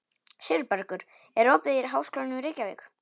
Sigurbergur, er opið í Háskólanum í Reykjavík?